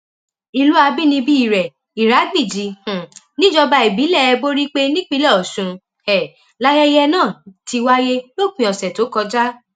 ìlú àbínibí rẹ ìràgbìjì um nìjọba ìbílẹ borípé nípínlẹ ọsùn um láyẹyẹ náà ti wáyé lópin ọsẹ tó kọjá